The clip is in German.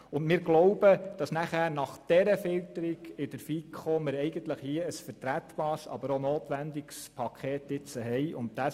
Wir glauben, dass wir nach dieser Filterung in der FiKo ein vertretbares, aber auch ein notwendiges Paket vorliegend haben.